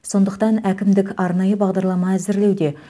соныдықтан әкімдік арнайы бағдарлама әзірлеуде